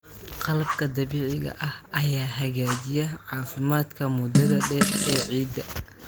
Qalabka dabiiciga ah ayaa hagaajiya caafimaadka muddada dheer ee ciidda.